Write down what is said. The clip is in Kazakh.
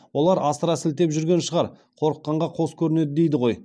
олар асыра сілтеп жүрген шығар қорыққанға қос көрінеді дейді ғой